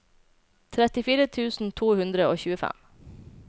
trettifire tusen to hundre og tjuefem